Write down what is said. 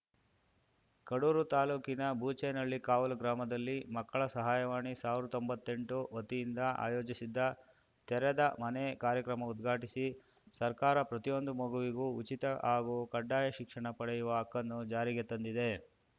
ಕಡೂರು ತಾಲೂಕಿನ ಬೂಚೇನಹಳ್ಳಿ ಕಾವಲು ಗ್ರಾಮದಲ್ಲಿ ಮಕ್ಕಳ ಸಹಾಯವಾಣಿ ಸಾವ್ರ್ ತೊಂಬತ್ತೆಂಟು ವತಿಯಿಂದ ಆಯೋಜಿಸಿದ್ದ ತೆರೆದ ಮನೆ ಕಾರ್ಯಕ್ರಮ ಉದ್ಘಾಟಿಸಿ ಸರ್ಕಾರ ಪ್ರತಿಯೊಂದು ಮಗುವಿಗೂ ಉಚಿತ ಹಾಗೂ ಕಡ್ಡಾಯ ಶಿಕ್ಷಣ ಪಡೆಯುವ ಹಕ್ಕನ್ನು ಜಾರಿಗೆ ತಂದಿದೆ